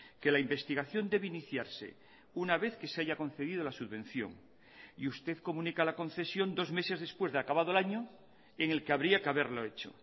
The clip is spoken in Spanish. que la investigación debe iniciarse una vez que se haya concedido la subvención y usted comunica la concesión dos meses después de acabado el año en el que habría que haberlo hecho